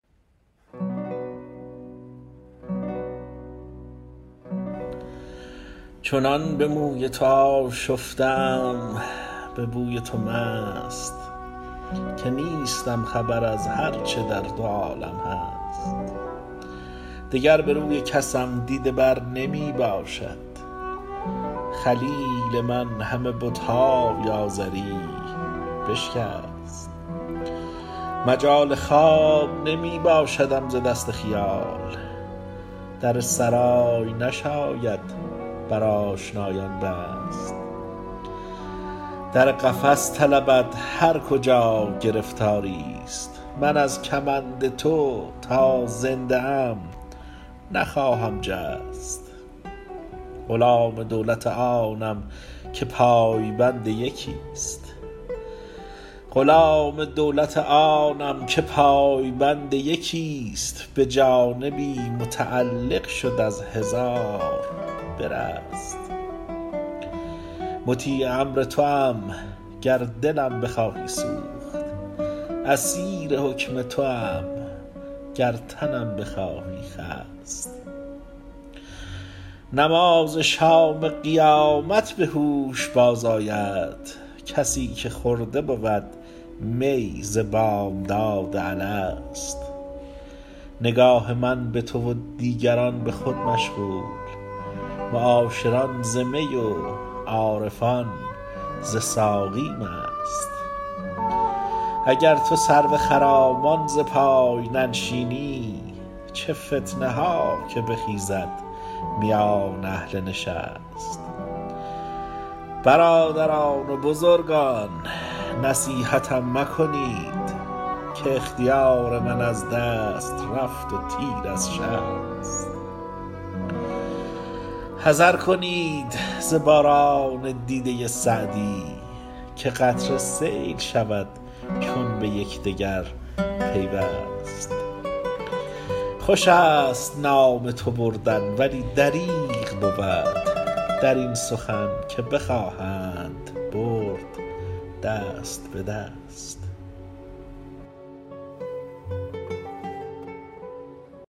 چنان به موی تو آشفته ام به بوی تو مست که نیستم خبر از هر چه در دو عالم هست دگر به روی کسم دیده بر نمی باشد خلیل من همه بت های آزری بشکست مجال خواب نمی باشدم ز دست خیال در سرای نشاید بر آشنایان بست در قفس طلبد هر کجا گرفتاری ست من از کمند تو تا زنده ام نخواهم جست غلام دولت آنم که پای بند یکی ست به جانبی متعلق شد از هزار برست مطیع امر توام گر دلم بخواهی سوخت اسیر حکم توام گر تنم بخواهی خست نماز شام قیامت به هوش باز آید کسی که خورده بود می ز بامداد الست نگاه من به تو و دیگران به خود مشغول معاشران ز می و عارفان ز ساقی مست اگر تو سرو خرامان ز پای ننشینی چه فتنه ها که بخیزد میان اهل نشست برادران و بزرگان نصیحتم مکنید که اختیار من از دست رفت و تیر از شست حذر کنید ز باران دیده سعدی که قطره سیل شود چون به یکدگر پیوست خوش است نام تو بردن ولی دریغ بود در این سخن که بخواهند برد دست به دست